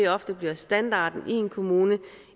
ofte bliver standarden i en kommune